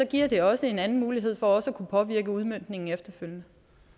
giver det også en anden mulighed for at kunne påvirke udmøntningen efterfølgende